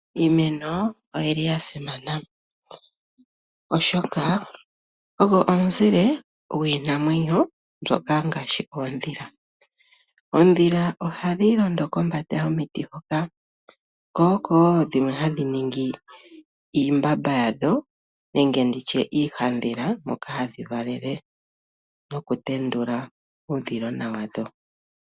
Iimeno oyili yasimana oshoka oyo omuzile gwiinamwenyo mbyoka ngaashi oondhila . Oondhila ohadhi londo kombanda yomiti hoka. Opuna woo dhimwe hadhi ningi iimbamba yadho nenge iihandhila moka hadhi valele nokutendula uudhilona wadho.